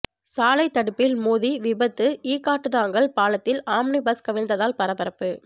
சாலை தடுப்பில் மோதி விபத்து ஈக்காட்டுதாங்கல் பாலத்தில் ஆம்னி பஸ் கவிழ்ந்ததால் பரபரப்பு